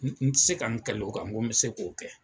N ti se ka n kalo o kan, n ko bi se k'o kɛ